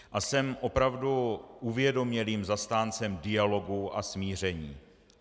A jsem opravdu uvědomělým zastáncem dialogu a smíření.